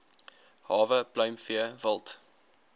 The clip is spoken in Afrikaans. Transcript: hawe pluimvee wild